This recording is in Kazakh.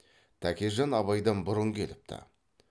тәкежан абайдан бұрын келіпті